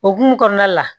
Okumu kɔnɔna la